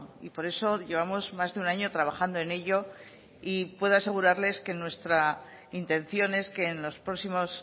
y por eso llevamos más de un año trabajando en ello y puedo asegurarles que nuestra intención es que en los próximos